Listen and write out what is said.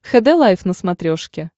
хд лайф на смотрешке